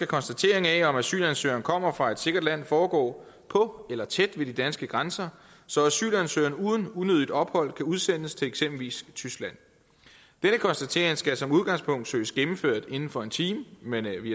konstateringen af om asylansøgeren kommer fra et sikkert land foregå på eller tæt ved de danske grænser så asylansøgeren uden unødigt ophold kunne udsendes til eksempelvis tyskland denne konstatering skulle som udgangspunkt søges gennemført inden for en time men vi